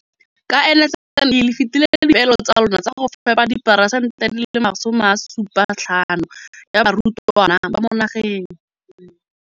Ka NSNP le fetile dipeelo tsa lona tsa go fepa masome a supa le botlhano a diperesente ya barutwana ba mo nageng.